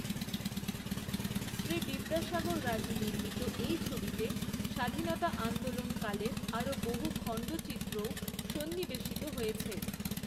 শ্রী বিদ্যাসাগর রাজু নির্মিত এই ছবিটিতে স্বাধীনতা আন্দোলনকালের আরও বহু খণ্ডচিত্রও সন্নিবেশিত হয়েছে।